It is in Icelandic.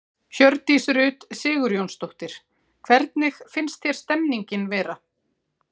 Hjördís Rut Sigurjónsdóttir: Hvernig finnst þér stemningin vera?